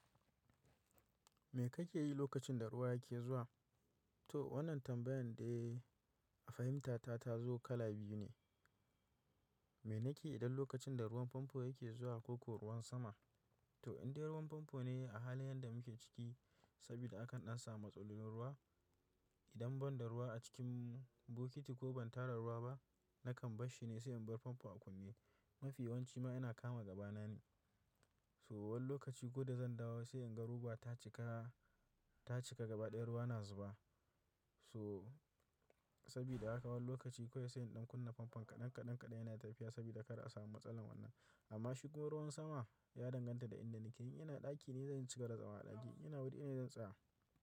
Me kake yi lokacin da ruwa yake zuwa? To wannan tambayan da a fahimta ta ta zo kala biyu ne. Me nake idan lokacin da ruwan famfo yake zuwa ko kuwa ruwan sama? To in dai ruwan famfo ne a halin yan da muke ciki, saboda akan an samu matsalolin ruwa. Idan ban da ruwa a cikin bokiti ko ban tara ruwa ba, nakan bashi ne sai in bar famfo a kunne. Mafiya wanci ma yana kama gaba na ne. So wani lokaci ko da zan dawo sai in ga ruwa ta cika, ta cika gaba ɗaya ruwa na zuba. So sabida haka wani lokaci kawai sai in ɗan kunna famfo kaɗan kaɗan kaɗan yana tafiya saboda kada a samu matsalar wannan. Amma shigan ruwan sama ya danganta da inda nake. In ina ɗaki ne zan cika da zama a ɗaki. Ina wuri ina zan tsaya.